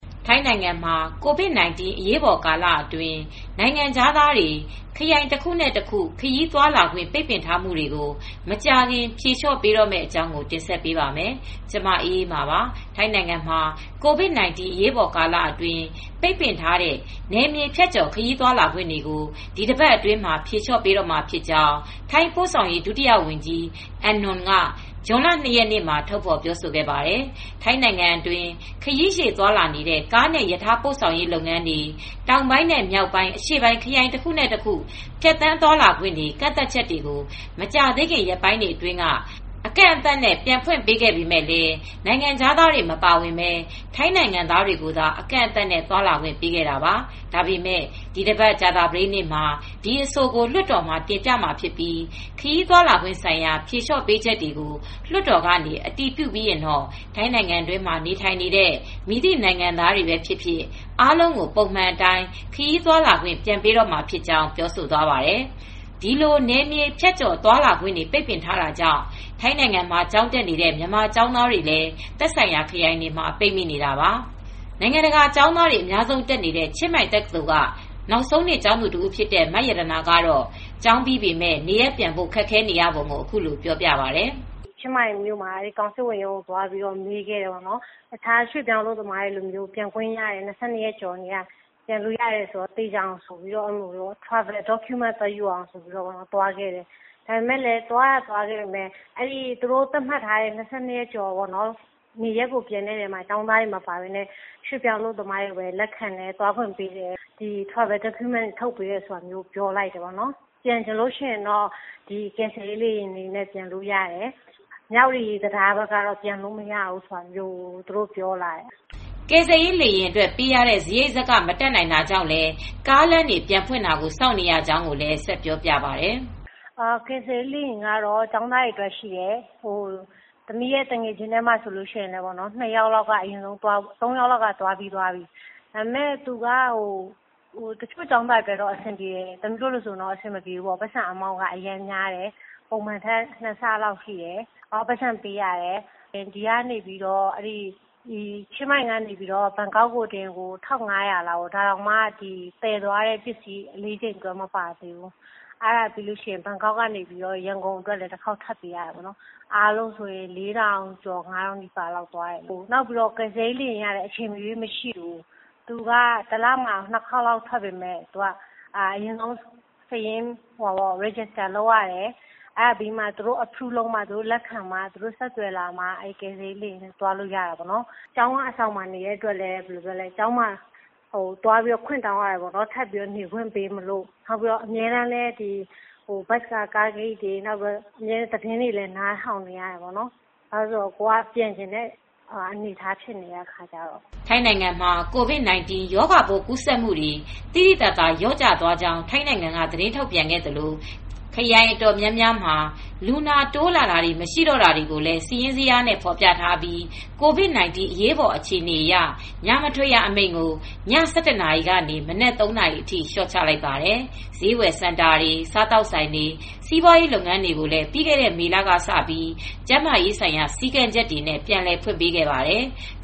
ထိုင်းနိုင်ငံ မှာ ကိုဗစ်-၁၉ အရေးပေါ်ကာလအတွင်း နိုင်ငံခြားသားတွေ ခရိုင်တခုနဲ့ တခု ခရီးသွားလာခွင့် ပိတ်ပင်ထားမှုတွေကိုမကြာခင် ဖြေလျှော့ပေးတော့မယ့်အကြောင်း တင်ဆက်ပေးပါမယ်။ VOA သတင်းထောက် မအေးအေးမာ က ထိုင်း-မြန်မာနယ်စပ်ကနေ သတင်းပေးပို့ထားပါတယ်။ ထိုင်းနိုင်ငံမှာ ကိုဗစ်-၁၉ အရေးပေါ်ကာလအတွင်းပိတ်ပင်ထားတဲ့ နယ်မြေဖြတ်ကျော်ခရီးသွားလာခွင့်တွေကို ဒီအပတ်အတွင်းမှာ ဖြေလျော့ပေးတော့မှာဖြစ်ကြောင်း ထိုင်း ပို့ဆောင်ရေး ဒုဝန်ကြီး Mr.Anon Luangboriboon က ဇွန်လ၂ရက်နေ့မှာ ထုတ်ဖေါ်ပြောဆိုခဲ့ပါတယ်။ ထိုင်းနိုင်ငံအတွင်း ခရီးရှည် သွားလာနေတဲ့ ကားနဲ့ ရထားပို့ဆောင်ရေး လုပ်ငန်းတွေ တောင်ပိုင်းနဲ့ မြောက်ပိုင်း၊ အရှေ့ပိုင်း ခရိုင်တခုနဲ့တခုဖြတ်သန်းသွားလာခွင့်တွေ ကန့်သတ်ချက် တွေကို မကြာသေးခင် ရက်ပိုင်းအတွင်းက အကန့်သတ်နဲ့ ပြန်ဖွင့်ပေးခဲ့ပေမယ့် နိုင်ငံခြားသားတွေမပါဝင်ပဲ ထိုင်းနိုင်ငံသားတွေ ကိုသာ အကန့်အသတ်နဲ့ သွားလာခွင့်ပေးခဲ့တာပါ။ ဒါပေမယ့် ဒီအပတ် ကြာသာပတေးနေ့မှာ ဒီအဆိုကို လွှတ်တော်ကို တင်ပြမှာဖြစ်ပြီး ခရီးသွားခွင့်ဆိုင်ရာ ဖြေလျော့ပေးချက် ကို လွှတ်တော်ကနေ အတည်ပြု ပြီးရင် နိုင်ငံတွင်းမှာ နေထိုင်နေတဲ့မည်သည့် နိုင်ငံသားတွေပဲဖြစ်ဖြစ် အားလုံး ကို ပုံမှန်အတိုင်း ခရီးသွားလာခွင့် ပြန်ပေးတော့မှာဖြစ်ကြောင်း ပြောဆိုသွားပါတယ်။ ဒီလိုနယ်မြေဖြတ်ကျော်သွားလာခွင့်တေ ွပိတ်ပင်ထားတာကြောင့် ထိုင်းနိုင်ငံမှာ ကျောင်းတက်နေတဲ့ မြန်မာကျောင်းသားတွေလည်း သက်ဆိုင်ရာ ခရိုင်တွေမှာပိတ်မိနေတာပါ။ နိုင်ငံတကာကျောင်းသားတွေ အများဆုံးတက်နေတဲ့ ချင်းမိုင်တက္ကသိုလ်က နောက်ဆုံးနှစ်ကျောင်းသူတဦးဖြစ်တဲ့ မရတနာကတော့ ကျောင်းပြီးပေမယ့် နေရပ်ပြန်ဖို့ ခက်ခဲနေရပုံကို အခုလိုပြောပြပါတယ်။ “ချင်းမိုင်မြို့မှာကောင်စစ်ဝန်ရုံးကို သွားမေးခဲ့တယ်။ တခြားရွေ့ပြောင်းအလုပ်သမားတွေ က ၂၂ရက်ကျော်ကတည်းက ပြန်လို့ရတယ်ဆိုလို့ သေချာအောင်သွားပြီးမေးခဲ့တယ်။ ခရီးသွားအထောက်အထားတွေယူပြီး သွားခဲ့တယ် ဒါပေမယ့် သူတို့ သတ်မှတ်ထားတဲ့ ၂၂ ရက်ကျော်မှာ ကျောင်းသားတွေ မပါပဲနဲ့ ရွှေပြောင်းအလုပ်သမားတွေကိုပဲ လက်ခံတယ်၊ ခရီးသွားလက်မှတ်တွေ ထုတ်ပေးတယ်။ ကျောင်းသားတွေအတွက် မပါပေမယ့် ပြန်ချင်လို့ရှိရင် ကယ်ဆယ်ရေး လေယာဉ်နဲ့သွားလို့ရတယ် မြဝတီမဲဆောက်လမ်းက တော့သွားမရဘူး ပြောတယ်” ကယ်ဆယ်ရေးလေယာဉ်အတွက်ပေးရတဲ့ စရိတ် မတတ်နိုင်တာကြောင့်လည်း ကားလမ်းတွေပြန်ဖွင့်တာကို စောင့်နေရကြောင်းကိုလည်း ဆက်ပြောပြပါတယ်။ “ကယ်ဆယ်ရေး လေယာဉ်နဲ့ကတော့ သမီး သူငယ်ချင်း ၂ဦး၊ ၃ဦးတော့ သွားကြတယ်။ သမီးတို့ အတွက်ကျ အဆင်မပြေဘူး စရိတ်က ပုံမှန်ထက် ၂ဆလောက်ပိုများတယ်။ ပိုက်ဆံပေးရတယ် ချင်းမိုင်ကနေ ဘန်ကောက်ထိ ဘတ်၁၅၀၀လောက်ပေးရတယ်။ ဒါတောင်မှ သယ်သွားတဲ့ ပစ္စည်းခတွေ မပါသေးဘူးပြီးတော့ ဘန်ကောက်ကနေ ရန်ကုန် အတွက်စရိတ်ထပ်ပေးတယ် ကုန်ကျစရိပ်က ၄၀၀၀ကနေ ၅၀၀၀ဘတ်လောက်ထိ ကျတယ်။ ကယ်ဆယ်ရေးလေယာဉ်ကလည်းအချိန်မရွေးမရှိဘူး၊ တလမှာ ၂ခေါက်လောက်ပဲရှိတယ်။ ပြီးတော့ အရင်မှတ်ပုံတင်ရတယ် စာရင်းတင်ထားရတယ် ၊ လက်ခံမှသာ သွားလိုရတယ်။ ကျောင်းက အဆောင်မှာနေတော့ ထပ်နေခွင့်ပေးဖို့ ခွင့်တောင်းရတယ်။ အမြဲတမ်းလည်း ကားဂိတ်တွေဖွင့်ပြီလားဆိုတာ နားထောင်နေရတယ်။ သတင်းတွေစုံစမ်းရတယ် ကိုယ်ကပြန်ချင်နေတဲ့ အခြေအနေဖြစ်နေတာကိုး” ထိုင်းနိုင်ငံမှာ ကိုဗစ်-၁၉ ရောဂါပိုးကူးစက်မူတွေ သိသိသာသာလျှော့ကျသွားကြောင်း ထိုင်းနိုင်ငံက သတင်းထုတ်ပြန်ခဲ့သလို ခရိုင်အတော်များများမှာ လူနာတိုးလာတာ မရှိတော့တာတွေကိုလည်း စာရင်းဇယားတွေနဲ့ ဖော်ပြထားပြီး ကိုဗစ် ၁၉ အရေးပေါ်အခြေအနေ အရ ညမထွက်ရ အမိန့်ကို ည ၁၁နာရီကနေ မနက်သုံးနာရီအထိလျော့ချလိုက်ပါတယ်။ ဈေးဝယ်စင်တာတွေ၊ စားသောက်ဆိုင်တွေ ၊ စီးပွားရေးလုပ်ငန်း တွေကိုလည်း ပြီးခဲ့တဲ့ မေလကစပြီး ကျန်းမာရေးဆိုင်ရာ စည်းကမ်းချက်တွေနဲ့ ပြန်လည်ဖွင့်ခွင့်ပေးခဲ့ပါတယ်။